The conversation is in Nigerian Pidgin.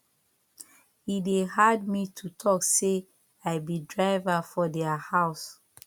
e dey hard me to talk sey i be driver for their house